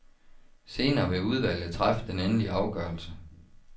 Senere vil udvalget træffe den endelige afgørelse.